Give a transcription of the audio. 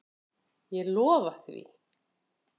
Ég lofa því.